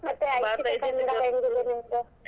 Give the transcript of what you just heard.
ಕನ್ನಡ ಹೆಂಗಿದೆ?